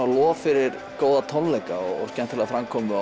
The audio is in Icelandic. lof fyrir tónleika og framkomu